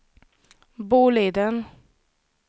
Boliden